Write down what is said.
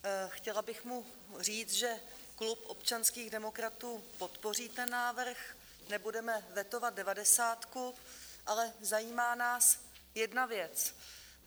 Chtěla bych mu říct, že klub občanských demokratů podpoří ten návrh, nebudeme vetovat devadesátku, ale zajímá nás jedna věc.